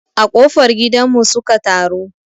A ƙofar gidan mu su ka taru